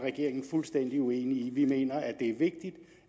fuldstændig uenig i for vi mener det er vigtigt